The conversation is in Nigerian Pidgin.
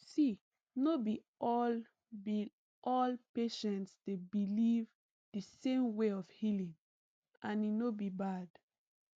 see no be all be all patients dey believe the same way of healing and e no be bad